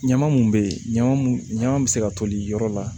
Ɲama mun be yen ɲaman mun ɲama be se ka toli yɔrɔ la